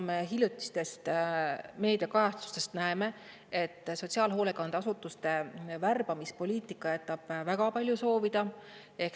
Me hiljutistest meediakajastustest näeme, et sotsiaalhoolekandeasutuste värbamispoliitika jätab väga palju soovida.